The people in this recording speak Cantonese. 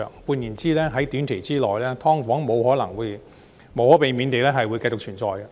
換言之，在短期之內，"劏房"無可避免地會繼續存在。